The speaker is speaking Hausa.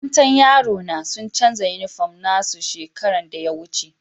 Makarantan yaro na sun chanza uniform na su shekaran da ya wuce.